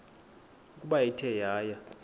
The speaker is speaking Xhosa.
ukuba ithe yaya